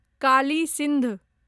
Kali Sindh